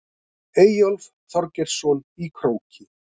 Eyjólf Þorgeirsson í Króki.